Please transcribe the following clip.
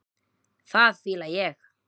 Það fíla ég.